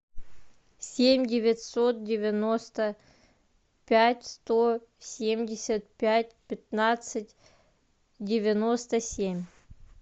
семь девятьсот девяносто пять сто семьдесят пять пятнадцать девяносто семь